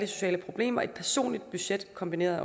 sociale problemer et personligt budget kombineret